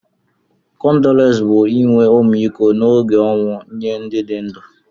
kọndoles bu inwe ọmịkọ na oge onwụ nye ndi di ndu..